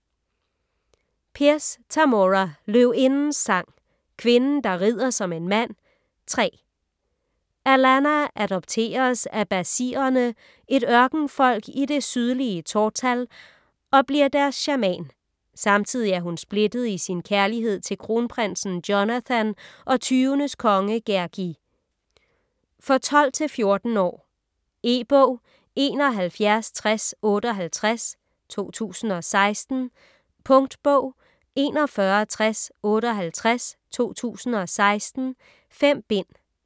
Pierce, Tamora: Løvindens sang: Kvinden der rider som en mand: 3 Alanna adopteres af bazhirerne, et ørkenfolk i det sydlige Tortall, og bliver deres shaman. Samtidig er hun splittet i sin kærlighed til kronprinsen Jonathan og tyvenes konge Gergi. For 12-14 år. E-bog 716058 2016. Punktbog 416058 2016. 5 bind.